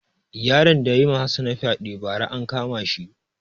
Yaron da yayi ma hassana fyaɗe ba ra an kama shi